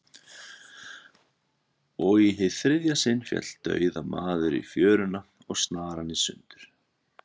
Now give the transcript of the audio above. Og í hið þriðja sinn féll dauðamaður í fjöruna, og snaran í sundur.